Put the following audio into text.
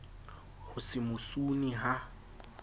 ho se mo sune ha